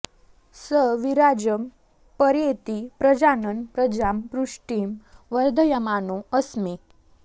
स वि॒राजं॒ पर्ये॑ति प्रजा॒नन् प्र॒जां पुष्टिं॑ व॒र्धय॑मानो अ॒स्मे